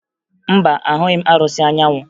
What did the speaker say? Mba, ahụghị m arụsị Anyanwụ